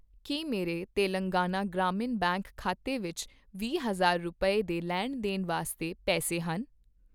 ਕੀ ਮੇਰੇ ਤੇਲੰਗਾਨਾ ਗ੍ਰਾਮੀਣ ਬੈਂਕ ਖਾਤੇ ਵਿੱਚ ਵੀਹ ਹਜ਼ਾਰ ਰੁਪਏ, ਦੇ ਲੈਣ ਦੇਣ ਵਾਸਤੇ ਪੈਸੇ ਹਨ ?